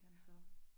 Ja